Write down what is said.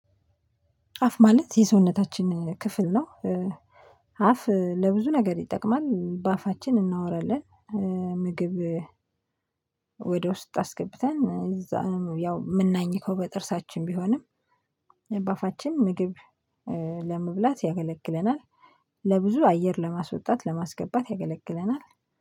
አፍ ማለት የሰውነታችን ክፍል ነው። አፍ ለብዙ ነገር ይጠቅማል በአፋችን እናወራለን፣ ምግብ ወደ ውስጥ አስገብተን እዛ ያው የምናኝከው በጥርሳችን ቢሆንም በአፋችን ምግብ ለመብላት ያገለግለናል። ለብዙ አየር ለማስወጣት ለማስገባት ያገለግለናል፣